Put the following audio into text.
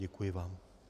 Děkuji vám.